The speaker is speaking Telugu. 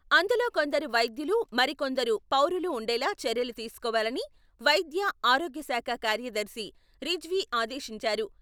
అందులో కొందరు వైద్యులు మరి కొందరు పౌరులు ఉండేలా చర్యలు తీసుకోవాలని వైద్య, ఆరోగ్య శాఖ కార్యదర్శి రిజ్వీ ఆదేశించారు.